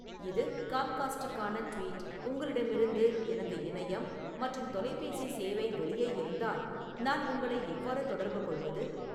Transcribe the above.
இது காம்காஸ்டுக்கான ட்வீட் உங்களிடமிருந்து எனது இணையம் மற்றும் தொலைபேசி சேவை வெளியே இருந்தால் நான் உங்களை எவ்வாறு தொடர்புகொள்வது